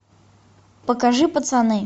покажи пацаны